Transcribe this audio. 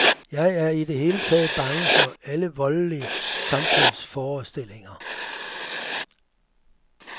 Jeg er i det hele taget bange for alle voldelige samfundsforestillinger.